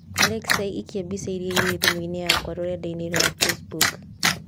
Alexa ĩkĩa mbica iria irĩ thimũ-inĩ yakwa rũrenda-inĩ rũa facebook